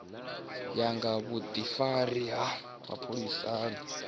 ya nga vhudifari ha mapholisani